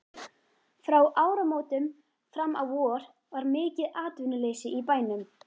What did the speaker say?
Frá áramótum fram á vor var mikið atvinnuleysi í bænum.